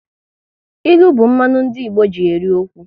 Ilu bụ mmanụ ndị Igbo ji eri okwu